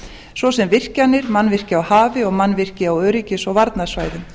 svo sem virkjanir mannvirki á hafinu og mannvirki á öryggis og varnarsvæðum